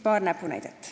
Paar näpunäidet.